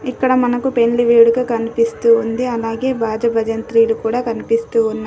ఇక్కడ మనకు పెండ్లి వేడుక కనిపిస్తూ ఉంది. అలాగే భాజ భజంత్రీలు కూడా కనిపిస్తూ ఉన్నా --